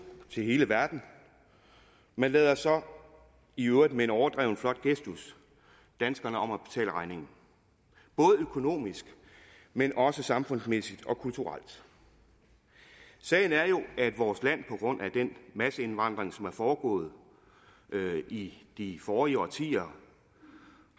til hele verden men lader så i øvrigt med en overdreven flot gestus danskerne om at betale regningen både økonomisk men også samfundsmæssigt og kulturelt sagen er jo at vores land på grund af den masseindvandring som er foregået i de forrige årtier